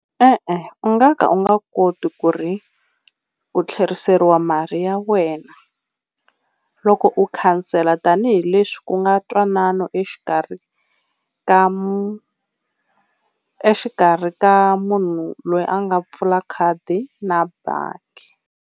E-e u nga ka u nga koti ku ri ku tlheriseriwa mali ya wena loko u khansela tanihileswi ku nga ntwanano exikarhi ka, exikarhi ka munhu loyi a nga pfula khadi na bangi.